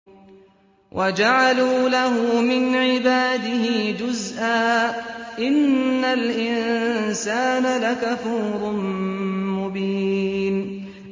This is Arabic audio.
وَجَعَلُوا لَهُ مِنْ عِبَادِهِ جُزْءًا ۚ إِنَّ الْإِنسَانَ لَكَفُورٌ مُّبِينٌ